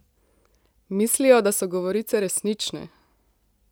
Mislijo, da so govorice resnične!